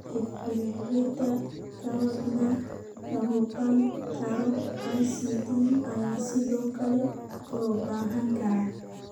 Defibrillator-ka Wadnaha La-Muuqan Karo (ICD) ayaa sidoo kale loo baahan karaa.